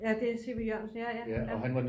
Ja det er en C V Jørgensen ja ja